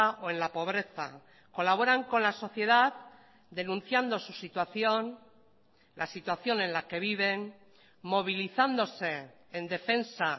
o en la pobreza colaboran con la sociedad denunciando su situación la situación en la que viven movilizándose en defensa